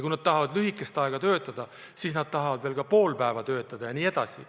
Lisaks tahavad nad töötada ainult pool päeva jne.